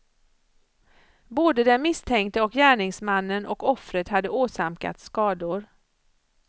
Både den misstänkte gärningsmannen och offret hade åsamkats skador.